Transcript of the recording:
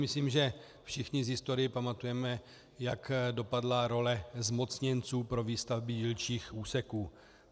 Myslím, že všichni z historie pamatujeme, jak dopadla role zmocněnců pro výstavby dílčích úseků.